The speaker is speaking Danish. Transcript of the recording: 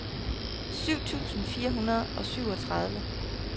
syv tusind fire hundrede og syvogtredive